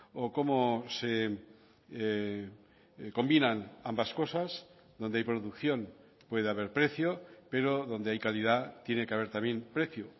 o cómo se combinan ambas cosas donde hay producción puede haber precio pero donde hay calidad tiene que haber también precio